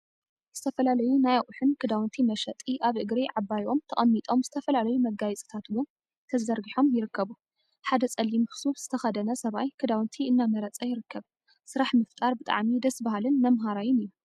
ዝተፈላለዩ ናይ አቁሑን ክዳውንቲ መሸጢ አብ እግሪ ዓባይ ኦም ተቀሚጦም ዝተፈላለዩ መጋየፂታት እውን ዘርጊሖም ይርከቡ፡፡ ሓደ ፀሊም ሱፍ ዝተከደነ ሰብአይ ክዳውንቲ እናመረፀ ይርከብ፡፡ ስራሕ ምፍጣር ብጣዕሚ ደሰ በሃሊን መምሃራይን እዩ፡፡